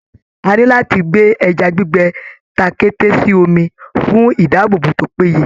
A ní láti gbè ẹja gbígbẹ takẹ́té sí omi, fun ìdáàbòbò tó péye